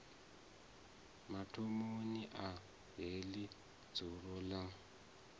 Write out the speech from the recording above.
mathomoni a heḽi dzulo ḽa